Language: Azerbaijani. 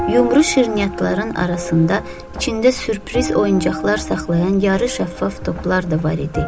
Yumru şirniyyatların arasında içində sürpriz oyuncaqlar saxlayan yarı şəffaf toplar da var idi.